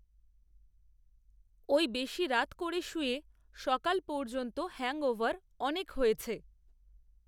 ওই বেশি রাত করে শুয়ে, সকাল পর্যন্ত হ্যাংওভার, অনেক হয়েছে